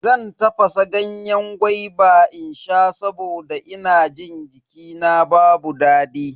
Zan tafasa ganyen gwaiba in sha saboda ina jin jikina babu daɗi.